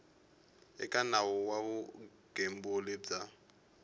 eka nawu wa vugembuli bya